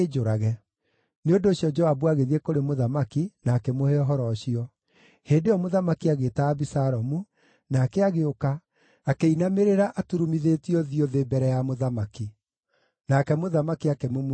Nĩ ũndũ ũcio Joabu agĩthiĩ kũrĩ mũthamaki, na akĩmũhe ũhoro ũcio. Hĩndĩ ĩyo mũthamaki agĩĩta Abisalomu, nake agĩũka, akĩinamĩrĩra aturumithĩtie ũthiũ thĩ mbere ya mũthamaki. Nake mũthamaki akĩmumunya Abisalomu.